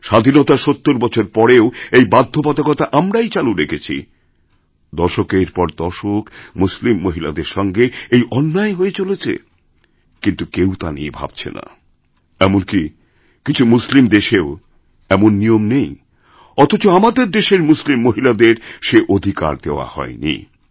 স্বাধীনতার ৭০ বছর পরেও এই বাধ্যবাধকতা আমরাই চালু রেখেছি দশকের পর দশক মুসলিমমহিলাদের সঙ্গে এই অন্যায় হয়ে চলেছে কিন্তু কেউ তা নিয়ে ভাবছে না এমন কি কিছুমুসলিম দেশেও এমন নিয়ম নেই অথচ আমাদের দেশের মুসলিম মহিলাদের সে অধিকার দেওয়াহয়নি